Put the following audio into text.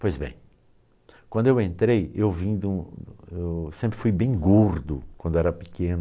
Pois bem, quando eu entrei, eu vim de um, eu sempre fui bem gordo quando era pequeno.